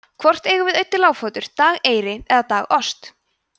hvort eigum við auddi lágfótur dageyri eða dagost